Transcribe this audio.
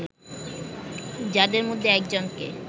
যাদের মধ্যে একজনকে